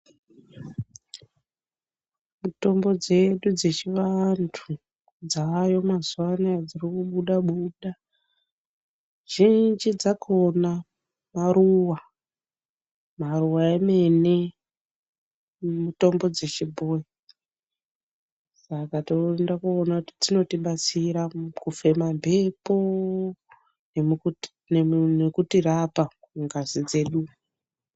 Mitombo dzedu dzechivantu, dzaayo mazuva anaya dziri kubuda-buda, zhinji dzakona maruwa. Maruwa emene mitombo dzechibhoyi Saka tinoenda koona kuti dznotibatsira kufema mbepo nokutirapa mungazi dzedu.